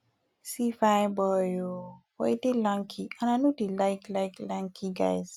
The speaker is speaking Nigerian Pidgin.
see fine boy oo but he dey lanky and i no dey like like lanky guys